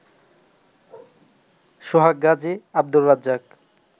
Sohag Gazi, Abdur Razzak